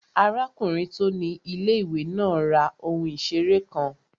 Arákùnrin tó ni ilé-ìwé náà ra ohun ìseré kan